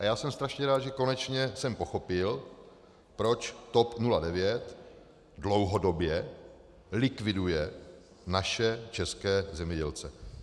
A já jsem strašně rád, že konečně jsem pochopil, proč TOP 09 dlouhodobě likviduje naše české zemědělce.